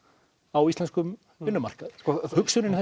á íslenskum vinnumarkaði hugsunin